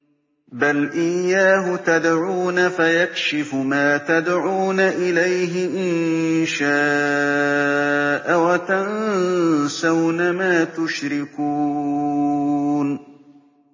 بَلْ إِيَّاهُ تَدْعُونَ فَيَكْشِفُ مَا تَدْعُونَ إِلَيْهِ إِن شَاءَ وَتَنسَوْنَ مَا تُشْرِكُونَ